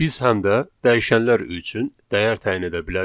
Biz həm də dəyişənlər üçün dəyər təyin edə bilərik.